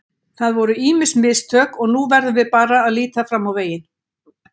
Það voru ýmis mistök og nú verðum við bara að líta fram á veginn.